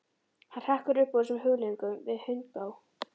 Hann hrekkur upp úr þessum hugleiðingum við hundgá.